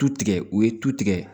Tu tigɛ u ye tu tigɛ